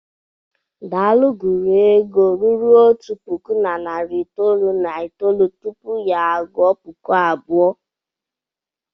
Daalụ gụrụ ego ruru otu puku na narị itoolu na itoolu tupu ya a gụọ puku abụọ.